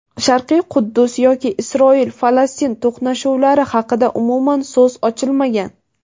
Sharqiy Quddus yoki Isroil-Falastin to‘qnashuvlari haqida umuman so‘z ochilmagan.